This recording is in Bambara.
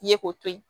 Ye k'o to ye